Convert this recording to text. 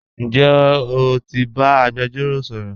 Njẹ́ o ti ba agbẹ̀jọ̀ro sọ̀rọ̀?